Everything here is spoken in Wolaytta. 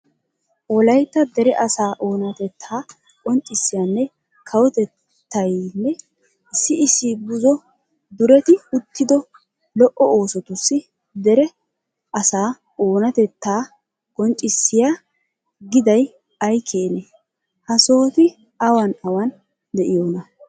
Wolaytta dere asaa oonatettaa qonccissiyanne kawotettaynne issi issi buzo dureti oottido lo"o oosotussi dere asaa oonatettaa qonccissiyo giday ay keenee? Ha sohoti awan awan de'iyonaa?